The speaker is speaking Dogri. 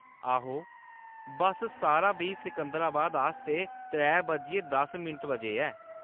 आहो, बस्स सतारां बी सिकंदराबाद आस्तै त्रै बज्जियै दस बजे ऐ।